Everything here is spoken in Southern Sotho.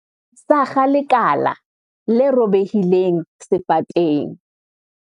sakga lekala le robehileng sefateng